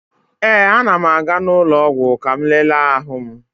Ee, a na m aga ụlọ ọgwụ ka m lele ahụ m.